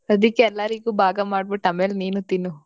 ಅದಿಕ್ಕೆ ಎಲ್ಲರಿಗೂ ಭಾಗ ಮಾಡ್ಬಿಟ್ಟು ಆಮೇಲ್ ನೀನು ತಿನ್ನು.